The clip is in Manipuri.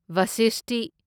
ꯚꯁꯤꯁꯇꯤ